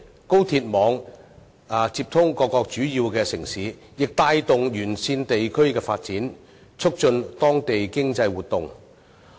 高鐵網接通各個主要城市，亦帶動沿線地區的發展，促進當地經濟活動。